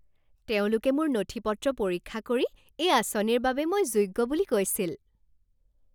তেওঁলোকে মোৰ নথি পত্ৰ পৰীক্ষা কৰি এই আঁচনিৰ বাবে মই যোগ্য বুলি কৈছিল।